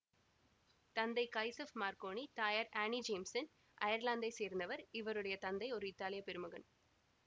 தந்தை Giuseppe Marconi தயார் Annie ஜேம்சன்அயர்லாந்தைச் சேர்ந்தவர்இவருடைய தந்தை ஓர் இத்தாலிய பெருமகன்